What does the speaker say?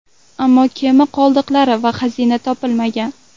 Ammo kema qoldiqlari va xazina topilmagan.